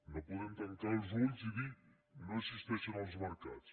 no podem tancar els ulls i dir no existeixen els mercats